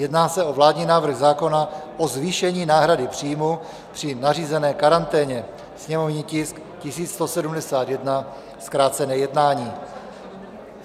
Jedná se o vládní návrh zákona o zvýšení náhrady příjmu při nařízené karanténě, sněmovní tisk 1171, zkrácené jednání.